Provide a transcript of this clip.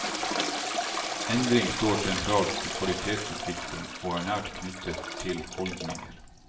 Endring står sentralt i kvalitetsutvikling og er nært knyttet til holdninger.